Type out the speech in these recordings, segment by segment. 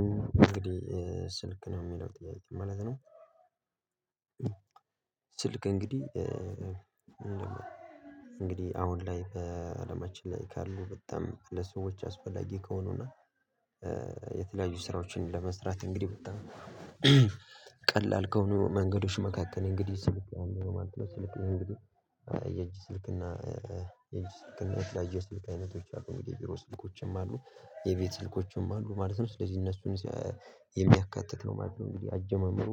እንግዲህ ስልክ ነው የሚለው ጥያቄው ማለት ነው። ስልክ እንግዲህ አሁን ላይ በአለማችን ላይ ካሉ በጣም ለሰዎች አስፈላጊ ከሆኑ እና የተለያዩ ስራዎችን ለመስራት እንግዲህ በጣም ቀላል ከሆኑ መንገዶች መካከል ነው እንግዲህ ስልክ አንዱ ነው ማለት ነው፤ ስልክ እንግዲህ የእጅ ስልክ እና የእጅ ስልክና የለያየ የስልክ አይነቶች አሉ እንግዲህ የቢሮ ስልኮችም አሉ የቤት ስልኮችም አሉ ማለት ነው። ስለዚህ እነሱን የሚያካትት ነው ማለት ነው። እንግዲህ አጀማመሩ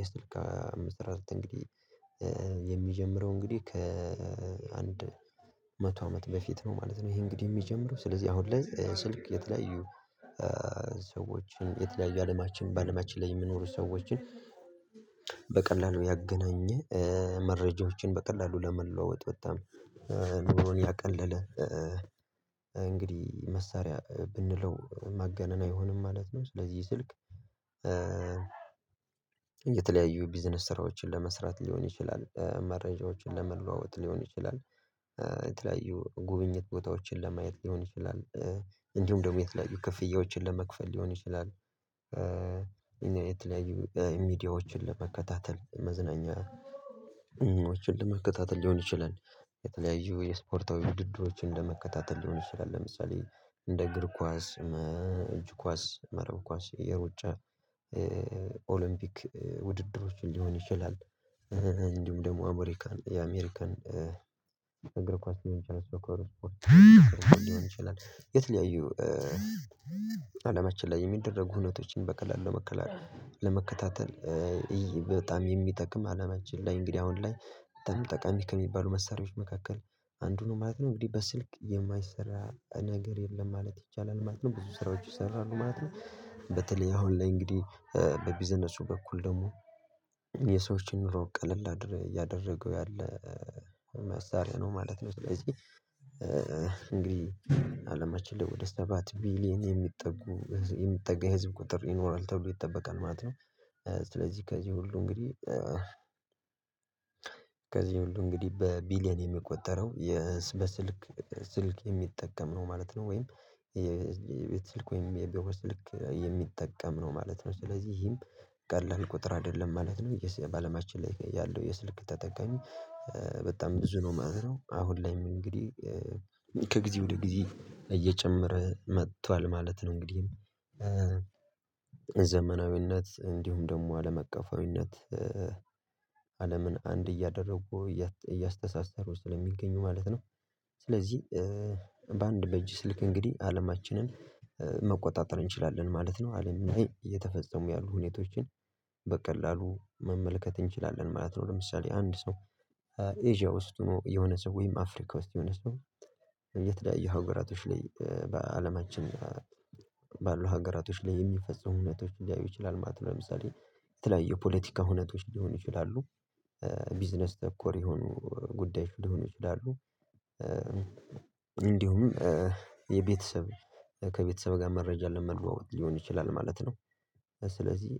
የስልክ አሐሠራረት እንግዲህ የሚጀምረው እንግዲህ ከአንድ መቶ አመት በፊት ነው ማለት ነው። ይሄ እንግዲህ የሚጀምረው ስለዚህ አሁን ስልክ የተለያዩ ሰዎችን የተለያዩ አለማችን በአለማችን ላይ የምኖሩ ሰዎችን በቀላሉ ያገናኘ መረጃዎችን በቀላሉ ለመለዋወጥ በጣም ኑሮን ያቀለለ እንግዲህ መሳሪያ ብንለው ማጋነን አይሆንም ማለት ነው። ስለዚህ ስልክ የተለያዩ ቢዝነስ ስራዎችን ለመስራት ሊሆን ይችላል መረጃዎችን ለመለዋወጥ ሊሆን ይችላል፤ የተለያዩ ጉብኝት ቦታዎችን ለማየት ሊሆን ይችላል እንዲሁም ደግሞ የተለያዩ ክፍያዎችን ለመክፈል ሊሆን ይችላል። የተለያዩ ሚዲያዎችን ለመከታተል መዝናኛዎችን ለመከታተል ሊሆን ይችላል። የተለያዩ የስፖርታዊ ውድድሮችን ለመከታተል ሊሆን ይችላል ለምሳሌ እንደ እግር ኳስ እጅ ኳስ መረብ ኳስ የሩጫ ኦሎምፒክ ውድድሮችን ሊሆን ይችላል። እንዲሁ ደግሞ አሜሪካን የአሜሪካን እግር ኳስ የሆነች አርባ ነው የተለያዩ አለማችን ላይ የሚደረጉ ህይወቶችን በከላን ለመከላከል ለመከታተል እይ በጣም የሚጠቅም አለማችን ላይ እንግዲህ አሁን ላይ ጠቃሚ ከሚባሉ መሳሪያዎች መካከል አንዱ ነው ማለት ነው። እንግዲህ በስልክ የማይሰራ ነገር የለም ማለት ይቻላል ማለት ነው ብዙ ስራዎች ይሰራሉ ማለት ነው። በተለይ አሁን ላይ እንግዲህ በቢዝነሱ በኩል ደግሞ የሰዎችን ኑሮ ቀለል ያደረገው ያለ መሳሪያ ነው ማለት ነው። ስለዚህ እንግዲህ አለማችን ላይ ወደ ሰባት ቢሊየን የሚጠጉ የሚጠጋ የህዝብ ቁጥር ይኖራል ተብሎ ይጠበቃል ማለት ነው። ስለዚህ ከዚህ ሁሉ እንግዲህ ከዚህ ሁሉ እንግዲህ በቢሊየን የሚቆጠረው የስ በስልክ ስልክ የሚጠቀም ነው ማለት ነው። ወይም የቤት ወይም የቤተሰብ ስልክ የሚጠቀም ነው ማለት ነው። ስለዚህ ይሄም ቀላል ቁጥር አይደለም ማለት ነው። በአለማችን ላይ ያለው የስልክ ተጠቃሚ በጣም ብዙ ነው ማለት ነው። አሁን ላይም እንግዲህ ከጊዜ ወደ ጊዜ እየጨመረ መጥቷል ማለት ነው። እንግዲህ ዘመናዊነት እንዲሁም ደግሞ አለመቀፈዊነት አለምን አንድ እያደረጉ እያስተሳሰሩ ስለሚገኙ ማለት ነው። ስለዚህ በአንድ በእጅ ስልክ እንግዲህ አለማችንን መቆጣጠር እንችላለን ማለት አለም እየተፈጸሙ ያሉ ሁኔታዎችን በቀላሉ መመልከት እንችላለን ማለት ነው። ለምሳሌ አንድ ሰው ኤዥያ ውስጥ ሆኖ የሆነ ሰው ወይም አፍሪካ ውስጥ የሆነ ሰው የተዳየ ሀገራቶች ላይ በአለማችን ባሉ ሀገራቶች ላይ የሚፈጽሙ እውነቶች ሊያዩ ይችላሉ ማለት ነው። ለምሳሌ የተለያዩ የፖለቲካ እውነቶች ሊሆኑ ይችላሉ። ቢዝነስ ተኮር የሆኑ ጉዳይ ሊሆን ይችላሉ ይመስሉታል እንዲሁም የቤተሰብ ከቤተሰብ ጋር መረጃ ለመለዎወጥ ሊሆን ይችላል ማለት ነው። ስለዚህ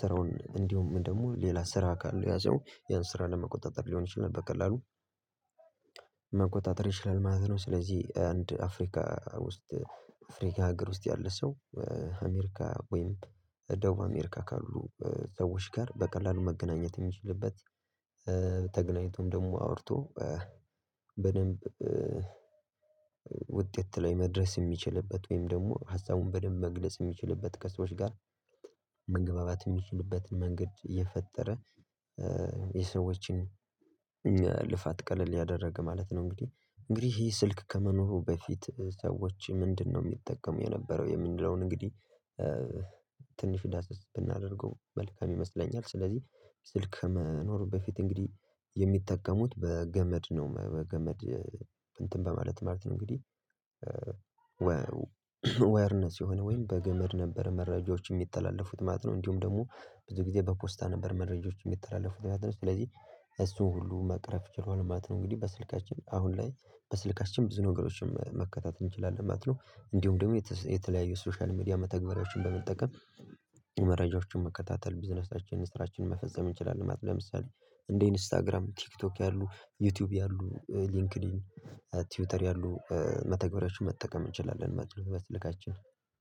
ስራውን እንዲሁ ደግሞ ሌላ ስራ ካለው ያ ሰው ያን ስራ ለመቆጣጠር ሊሆን ይችላል በቀላሉ መቆጣጠር ይችላል ማለት ነው። ስለዚህ አንድ አፍሪካ ውስጥ አፍሪካ አገር ውስጥ ያለ ሰው አሜሪካ ወይም ደቡብ አሜሪካ ካሉ ሰዎች ጋር በቀላሉ መገናኘት የሚችልበት ተገናኝቶም ደግሞ አውርቶ በደንብ ዉጤት ላይ መድረስ የሚችልበት ወይም ደግሞ ሀሳቡን በደንብ መግለጽ የሚችልበት ከሰዎች ጋር መግባባት የሚችልበትን መንገድ እየፈጠረን የሰዎችን ልፋት ቀለል ያደረገ ማለት ነው። እንግዲህ እንግዲህ ይሄ ስልክ ከመኖሩ በፊት ሰዎች ምንድነው? የሚጠቀሙ የነበረው የምንለውን እንግዲህ ትንሽ ዳሰስ ብናደርገው መልካም ይመስለኛል። ስለዚህ ስልክ መኖር በፊት እንግዲህ የሚጠቀሙት በገመድ ነው በገመድ እንትን በማለት ማለት ነው። እንግዲህ ወይለነስ የሆነ ወይም በገመድ ነበር መረጃዎች የሚተላለፉት ማለት ነው። እንዲሁም ደግሞ ብዙ ጊዜ በኮስታ ነበር መረጃዎች የሚተላለፉት ማለት ነው። ስለዚህ እሱን ሁሉ መቅረፍ ችሏል ማለት ነው። እንግዲህ በስልካችን አሁን ላይ በስልካችን ብዙ ነገሮችን መከታተል እንችላለን ማለት ነው። እንዲሁም ደግሞ የተለያዩ ሶሻል ሚዲያ መተግበሪያዎችን በመጠቀም መረጃዎችን መከታተል ቢዝነሳችንን ስራችንን መፈዘም እንችላለን ማለት። ለምሳሌ እንደ ኢንስታግራም ቲክቶክ ያሉ ዩቲዩብ ያሉ ሊንክድኢን ትዊተር ያሉ መተግበሪያዎችን መጠቀም እንችላለን። መጥለው በስልካችን